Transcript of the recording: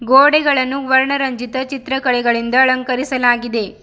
ಗೋಡೆಗಳನ್ನು ವರ್ಣ ರಂಜಿತ ಚಿತ್ರ ಕಳಿಕಳಿಂದ ಅಲಂಕರಿಸಲಾಗಿದೆ.